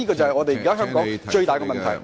這是香港現時最大的問題。